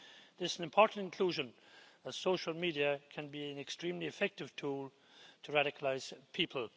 This is an important inclusion, as social media can be an extremely effective tool to radicalise people.